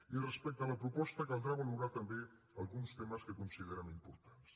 i respecte a la proposta caldrà valorar també alguns temes que considerem importants